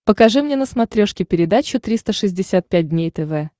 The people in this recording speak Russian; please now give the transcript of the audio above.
покажи мне на смотрешке передачу триста шестьдесят пять дней тв